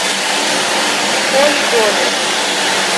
холи доли